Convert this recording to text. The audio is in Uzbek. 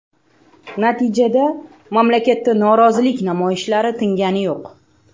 Natijada, mamlakatda norozilik namoyishlari tingani yo‘q.